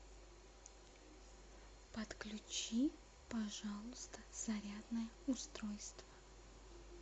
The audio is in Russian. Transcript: подключи пожалуйста зарядное устройство